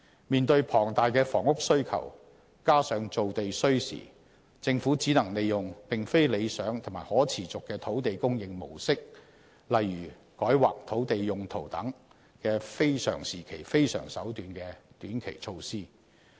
面對龐大的房屋需求，加上造地需時，政府只能利用並非理想及可持續的土地供應模式，例如"改劃土地用途"等"非常時期非常手段"的短期措施。